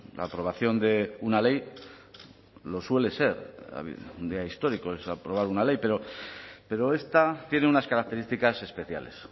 la aprobación de una ley lo suele ser un día histórico es aprobar una ley pero esta tiene unas características especiales